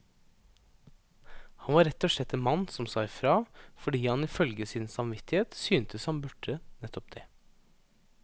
Han var rett og slett en mann som sa ifra, fordi han ifølge sin samvittighet syntes han burde nettopp det.